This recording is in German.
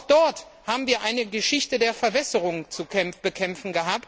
Auch dort hatten wir eine Geschichte der Verwässerung zu bekämpfen.